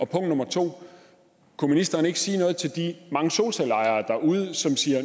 punkt to om ministeren ikke kunne sige noget til de mange solcelleejere derude som siger